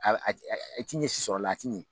I ti ɲɛ si sɔrɔ a la a ti ɲɛ